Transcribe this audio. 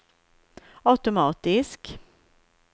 automatisk